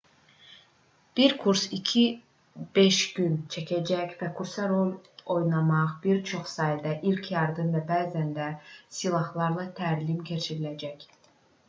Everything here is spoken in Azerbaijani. bir kurs 2-5 gün çəkəcək və kursa rol oynamaq bir çox sayda il yardım və bəzən də silahlarla təlim keçiləcək